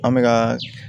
An bɛ ka